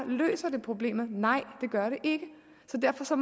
løser det problemet nej det gør det ikke så derfor